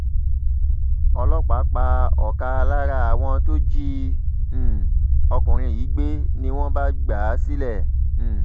ọlọ́pàá pa ọkà lára àwọn tó jí um ọkùnrin yìí gbé ni wọ́n bá gbà á sílẹ̀ um